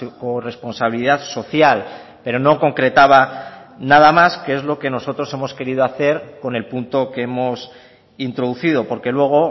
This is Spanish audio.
corresponsabilidad social pero no concretaba nada más que es lo que nosotros hemos querido hacer con el punto que hemos introducido porque luego